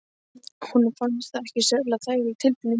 Honum fannst það ekki sérlega þægileg tilfinning.